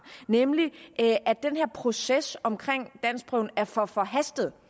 nemlig at den her proces omkring danskprøven er for forhastet